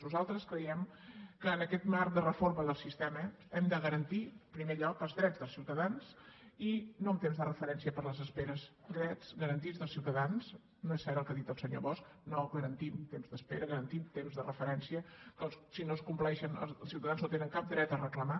nosaltres creiem que en aquest marc de reforma del sistema hem de garantir en primer lloc els drets dels ciutadans i no en temps de referència per les esperes drets garantits dels ciutadans no és cert el que ha dit el senyor bosch no garantim temps d’espera garantim temps de referència que si no es compleixen els ciutadans no tenen cap dret a reclamar